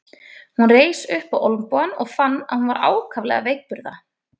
Hún reis upp á olnbogann og fann að hún var ákaflega veikburða.